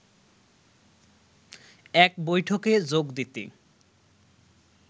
এক বৈঠকে যোগ দিতে